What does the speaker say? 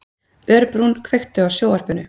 Örbrún, kveiktu á sjónvarpinu.